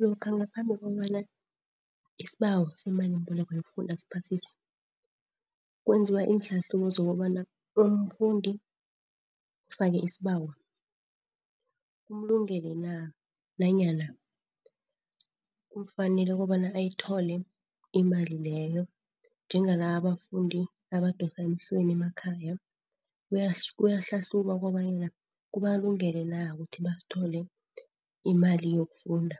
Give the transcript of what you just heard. Lokha ngaphambi kobana isibawo semalimboleko yokufunda siphasiswe, kwenziwa iinhlahlubo zokobana umfundi ofake isibawo ukulungele na, nanyana kufanele kobana ayithole imali leyo. Njengalaba abafundi abadosa emhlweni emakhaya kuyahlahlubwa kobanyana kubalungele na, ukuthi bazithole imali yokufunda.